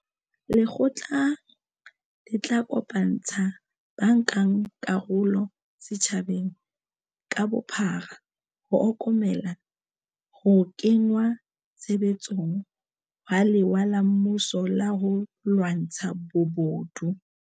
Lekgotla le tla kopantsha bankakarolo setjhabeng ka bophara ho okomela ho kengwa tshebetsong ha lewa la mmuso la ho lwantsha bobodu.